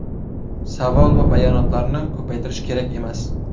Savol va bayonotlarni ko‘paytirish kerak emas.